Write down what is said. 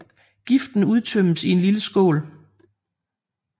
Giften udtømmes i en lille skål